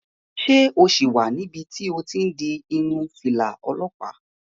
Ṣé o sì wà níbi tí o ti n di irun fìlà olọ́pàá?